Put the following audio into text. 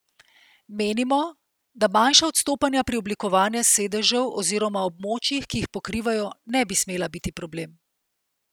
Menimo, da manjša odstopanja pri oblikovanju sedežev oziroma območjih, ki jih pokrivajo, ne bi smela biti problem.